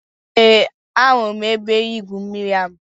Eé, ahụrụ m ebe-igwụ mmiri ahụ.